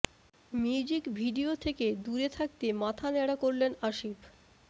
music video থেকে দূরে থাকতে মাথা ন্যাড়া করলেন আসিফ